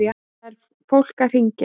Það er fólk að hringja.